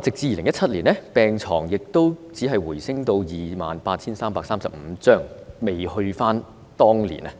直至2017年，只是回升至 28,335 張病床，仍未回復到當年的